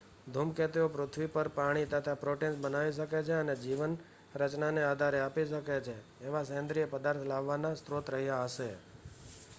ધૂમકેતુઓ પૃથ્વી પર પાણી તથા પ્રોટીન્સ બનાવી શકે અને જીવન રચનાને આધાર આપી શકે એવા સેન્દ્રીય પદાર્થ લાવવાના સ્ત્રોત રહ્યા હશે